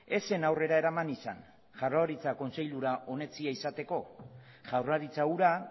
ez zen aurrera eraman izan jaurlaritza kontseilura onetsia izateko jaurlaritza hura